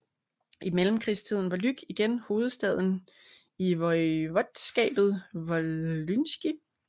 I mellemkrigstiden var Łuck igen hovedstaden i voivodskabet wołyńskie